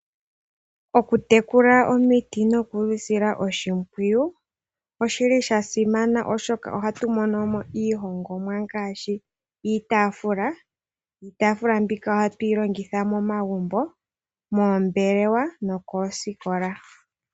Okutekula omiti nokudhi sila oshimpwiyu oshili shasimana oshoka ohatumono iihongomwa ngaashi iitaafula. Iitaafula mbika ohatuyi longitha momagumbo, moombelewa nokoosikola.